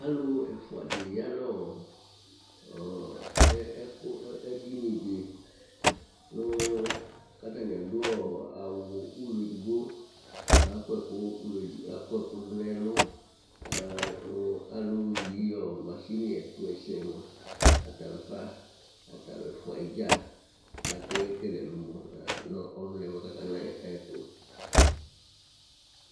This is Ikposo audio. Alʋ ɛfʋa di ya nʋ edini di kʋ atani adu awu ulɔ ɛdigbo Akɔ ɛkʋ du nʋ ɛlu Alu yi masini ɛtuɛsɛ mʋa ata lafa, atalu ɛfʋa dza Akekele ɛlumɔ nʋ ɔluna yɛ kʋ akana yɛ tu